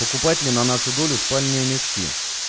покупатели на нашу долю спальные мешки